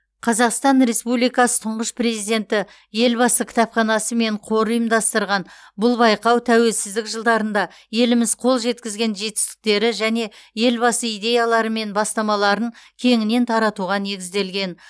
қазақстан республикасы тұңғыш президенті елбасы кітапханасы мен қоры ұйымдастырған бұл байқау тәуелсіздік жылдарында еліміз қол жеткізген жетістіктері және елбасы идеялары мен бастамаларын кеңінен таратуға негізделген